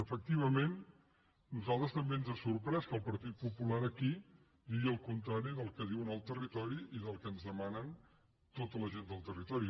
efectivament a nosaltres també ens ha sorprès que el partit popular aquí digui el contrari del que diu en el territori i del que ens demana tota la gent del territori